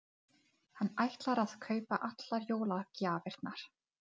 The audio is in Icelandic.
Hér eru átta flottar blokkir.